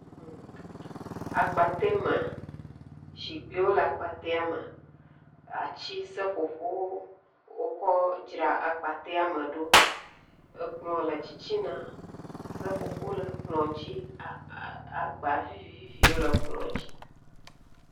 Akpatɛame zikpuiwo le akpatɛamea, zikpuiwo le akpatɛame, atiwo, seƒoƒo, wokɔ dzra akpatɛame ɖo, ekplɔ le titina, seƒoƒo le kplɔ dzi, agba viviviwo le kplɔ dzi.